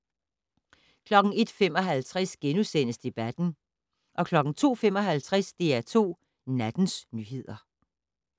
01:55: Debatten * 02:55: DR2 Nattens nyheder